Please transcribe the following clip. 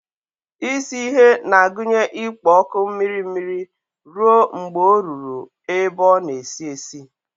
Isi ihe na-agụnye ikpo ọkụ mmiri mmiri ruo mgbe ọ ruru ebe ọ na-esi esi.